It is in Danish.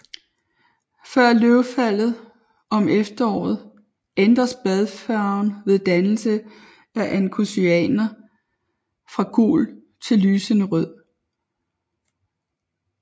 Før løvfaldet om efteråret ændres bladfarven ved dannelse af anthocyaner fra gul til lysende rød